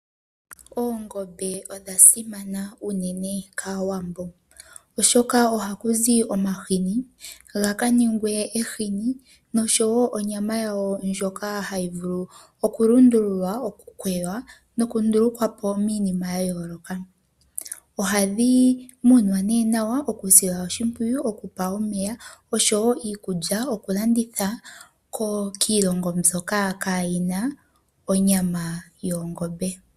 Oongombe odha simana unene kAawambo oshoka ohakuzi omahini ga kaningwe ehini, noshowo onyama yawo ndjoka hayi vulu okukwewa, noku ndulukwapo miinima ya yooloka. Ohadhi munwa nduno nawa tadhi silwa oshimpwiyu, okupewa omeya oshowo iikulya, nokulanditha kiilongo mbyoka kayina onyama yoongombe.